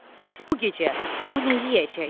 Bəs bu gecə o nə yeyəcək?